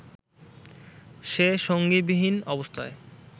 যে সঙ্গীবিহীন অবস্থায়